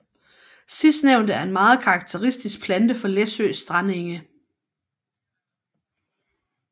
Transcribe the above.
Sidstnævnte er en meget karakteristisk plante for Læsøs strandenge